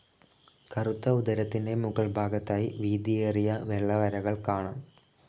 കറുത്ത ഉദരത്തിൻ്റെ മുകൾ ഭാഗത്തായി വീതിഏരിയ വെള്ള വരകൾ കാണാം.